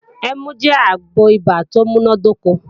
Ẹmu jẹ́ àgbo ibà tó múnádóko